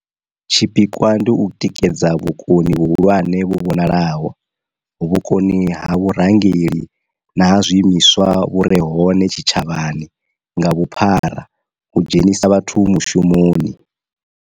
Tshi pikwa ndi u tikedza vhukoni vhuhulwane vhu vhonalaho, vhukoni ha vhurangeli na ha zwi imiswa vhu re hone tshi tshavhani nga vhuphara u dzhenisa vhathu mushumoni.